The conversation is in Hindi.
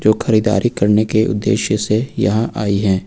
जो खरीदारी करने के उद्देश्य से यहां आई हैं।